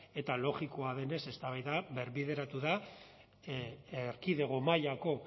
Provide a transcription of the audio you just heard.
eta logikoa denez eztabaida berbideratu da erkidego mailako